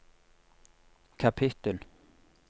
kapittel